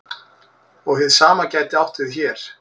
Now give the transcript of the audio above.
Og hið sama gæti átt við hér.